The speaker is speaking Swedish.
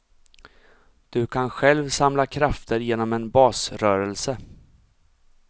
Du kan själv samla krafter genom en basrörelse.